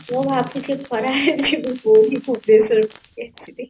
ପୁରୀ ଭୁବନେଶ୍ଵର ଯିବି